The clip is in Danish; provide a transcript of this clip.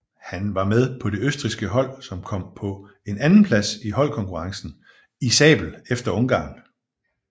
Han var med på det østrigske hold som kom på en andenplads i holdkonkurrencen i sabel efter ungarn